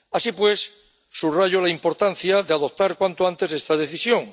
Así pues, subrayo la importancia de adoptar cuanto antes esta Decisión.